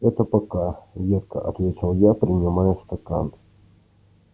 это пока едко ответил я принимая стакан